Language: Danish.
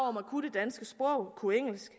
danske sprog kunne engelsk